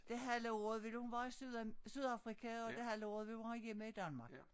Det halve af året vil hun være i syd Sydafrika og det halve af året vil hun være hjemme i Danmark